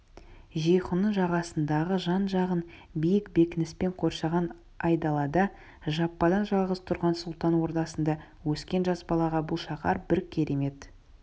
жейхунның жағасындағы жан-жағын биік бекініспен қоршаған айдалада жападан-жалғыз тұрған сұлтан ордасында өскен жас балаға бұл шаһар бір керемет